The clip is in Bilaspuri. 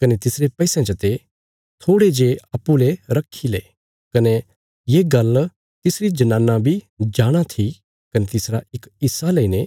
कने तिसरे पैसयां चते थोड़े जे अप्पूँ ले रखी ले कने ये गल्ल तिसरी जनाना बी जाणाँ थी कने तिसरा इक हिस्सा लईने